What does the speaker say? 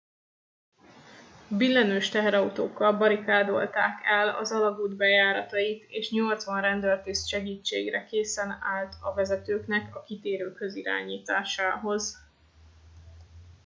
billenős teherautókkal barikádolták el az alagút bejáratait és 80 rendőrtiszt segítségre készen állt a vezetőknek a kitérőkhöz irányításához